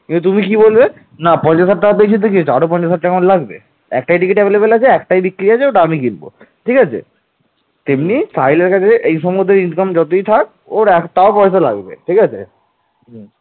এই ঘটনাটি তৎকালীন বিখ্যাত মহাকাব্য ধর্ম মঙ্গলে উল্লেখ আছে